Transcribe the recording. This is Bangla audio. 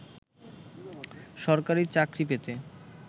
সরকারি চাকরি পেতে